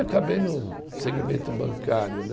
Acabei no segmento bancário, né?